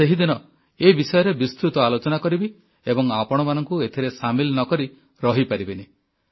ମୁଁ ସେହିଦିନ ଏ ବିଷୟରେ ବିସ୍ତୃତ ଆଲୋଚନା କରିବି ଏବଂ ଆପଣମାନଙ୍କୁ ଏଥିରେ ସାମିଲ ନ କରି ରହିପାରିବିନି